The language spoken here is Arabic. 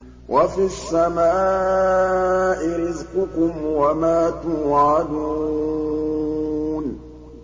وَفِي السَّمَاءِ رِزْقُكُمْ وَمَا تُوعَدُونَ